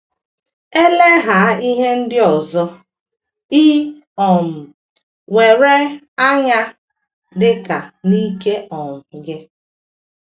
Elegha ihe ndị ọzọ i um nwere anya, dị ka na ike um gị.